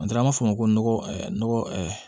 An taara an b'a fɔ o ma ko nɔgɔ